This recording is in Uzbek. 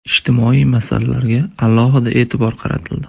Ijtimoiy masalalarga alohida e’tibor qaratildi.